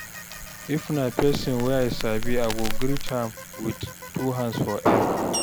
if na pesin wey I sabi I go greet am wit two hands for air